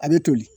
A bɛ toli